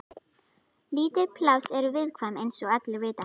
Lítil pláss eru viðkvæm eins og allir vita.